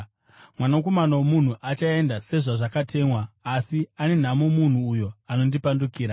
Mwanakomana woMunhu achaenda sezvazvakatemwa, asi ane nhamo munhu uyo anomupandukira.”